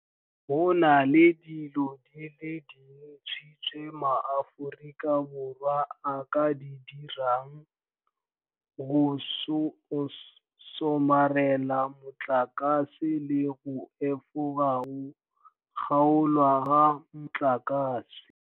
Go nale dilo di le dintsi tse maAforika Borwa a ka di dirang go somarela motlakase le go efoga go kgaolwa ga motlakase.